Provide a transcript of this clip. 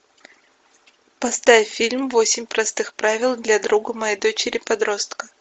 поставь фильм восемь простых правил для друга моей дочери подростка